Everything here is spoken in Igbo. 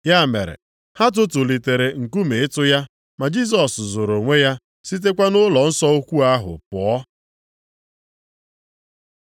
Ya mere, ha tụtụlitere nkume ịtụ ya, ma Jisọs zoro onwe ya, sitekwa nʼụlọnsọ ukwuu ahụ pụọ.